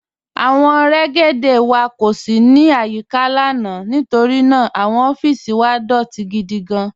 Awọn rẹ́gédé wà kó sì ní ayíkà lána nítorí ná àwọn ọffísì wà dọtì gídí gán.